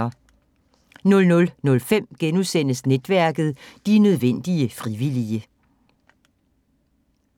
00:05: Netværket: De nødvendige frivillige *